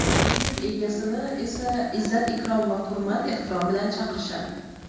ilm egasini esa izzat-ikrom va hurmat-ehtirom bilan chaqirishadi;.